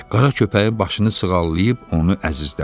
Qara köpəyin başını sığallayıb onu əzizlədi.